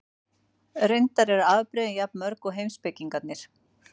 Reyndar eru afbrigðin jafn mörg og heimspekingarnir.